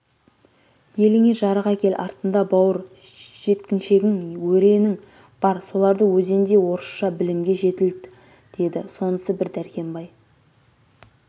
еліңе жарықәкел артында бауыр жеткіншегің өре-нің бар соларды өзіндей орысша білімге жетілт деді сонысы бір дәркембай